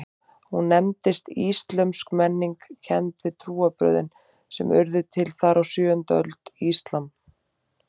Hún nefndist íslömsk menning, kennd við trúarbrögðin sem urðu til þar á sjöundu öld, íslam.